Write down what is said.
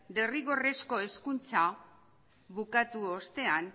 derrigorrezko hezkuntza bukatu ostean